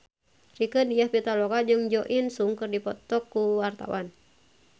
Rieke Diah Pitaloka jeung Jo In Sung keur dipoto ku wartawan